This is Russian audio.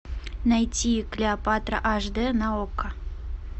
найти клеопатра аш д на окко